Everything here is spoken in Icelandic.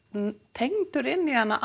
tengdur inn í hana